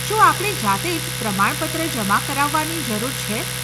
શું આપણે જાતે જ પ્રમાણપત્ર જમા કરાવવાની જરૂર છે?